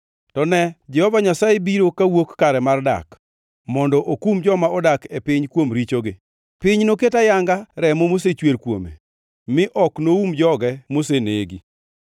To ne, Jehova Nyasaye biro kawuok kare mar dak mondo okum joma odak e piny kuom richogi. Piny noket ayanga remo mosechwer kuome, mi ok noum joge mosenegi.